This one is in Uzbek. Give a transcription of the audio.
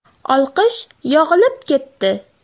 Olqish yog‘ilib ketdi.